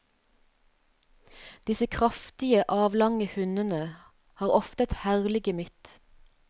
Disse kraftige, avlange hundene har ofte et herlig gemytt.